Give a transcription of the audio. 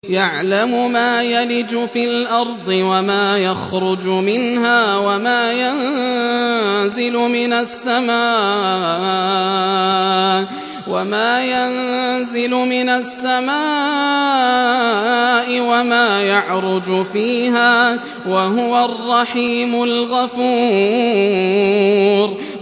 يَعْلَمُ مَا يَلِجُ فِي الْأَرْضِ وَمَا يَخْرُجُ مِنْهَا وَمَا يَنزِلُ مِنَ السَّمَاءِ وَمَا يَعْرُجُ فِيهَا ۚ وَهُوَ الرَّحِيمُ الْغَفُورُ